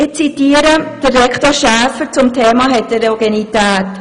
Ich zitiere den Rektor, Herrn Schäfer, zum Thema Heterogenität: